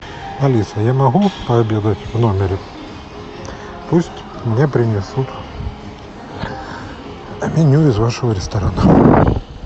алиса я могу пообедать в номере пусть мне принесут меню из вашего ресторана